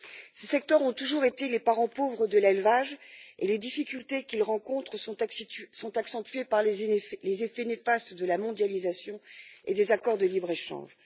Ces secteurs ont toujours été les parents pauvres de l'élevage et les difficultés qu'ils rencontrent sont accentuées par les effets néfastes de la mondialisation et des accords de libre échange.